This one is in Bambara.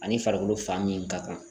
Ani farikolo fan min ka kan